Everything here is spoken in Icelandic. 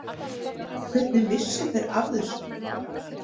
Hvernig vissu þeir af þessu?